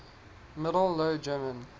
middle low german